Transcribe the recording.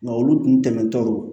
Nka olu dun tɛmɛtɔ